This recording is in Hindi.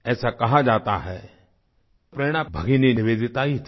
ऐसा कहा जाता है कि प्रेरणा भगिनी निवेदिता ही थी